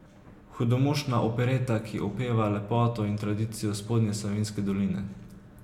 Hudomušna opereta, ki opeva lepoto in tradicijo Spodnje Savinjske doline.